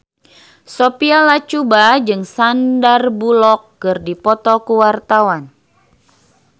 Sophia Latjuba jeung Sandar Bullock keur dipoto ku wartawan